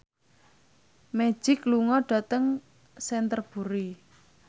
Magic lunga dhateng Canterbury